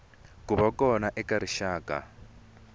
ku va kona ka rixaka